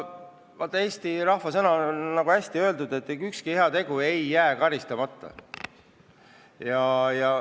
Vaat, on olemas üks hea eesti ütlemine: ükski heategu ei jää karistamata.